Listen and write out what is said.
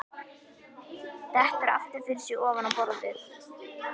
Dettur aftur fyrir sig ofan á borðið.